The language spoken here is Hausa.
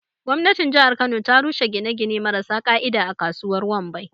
Gwamnatin jihar kano ta rushe gine-gine marasa ƙa'ida a kasuwar Wambai.